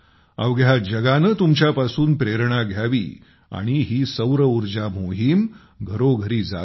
अवघ्या जगाने तुमच्यापासून प्रेरणा घ्यावी आणि ही सौर ऊर्जा मोहीम घरोघरी जावी